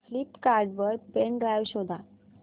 Flipkart वर pen drive शोधा